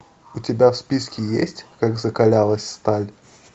у тебя в списке есть как закалялась сталь